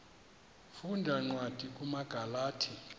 funda cwadi kumagalati